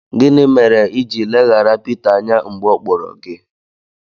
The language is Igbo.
Gịnị mere i ji leghara Pita anya mgbe ọ kpọrọ gị?